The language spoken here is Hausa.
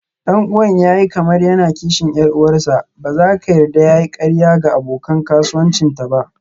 Ɗan'uwan ya yi kamar yana kishin 'yar uwarsa, ba za ka yarda ya yi ƙarya ga abokan kasuwancinta ba.